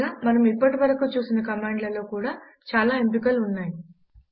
పైగా మనము ఇప్పటి వరకు చూసిన కమాండ్ లలో కూడా చాలా ఎంపికలు ఉన్నాయి